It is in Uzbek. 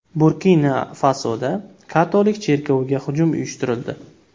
Burkina-Fasoda katolik cherkoviga hujum uyushtirildi.